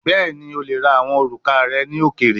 Bẹẹni, o le ra awọn oruka rẹ ni okeere